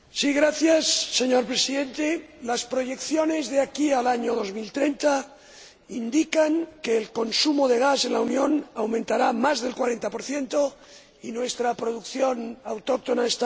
Señor Presidente, las proyecciones de aquí al año 2030 indican que el consumo de gas en la Unión aumentará en más del 40 y que nuestra producción autóctona está en descenso.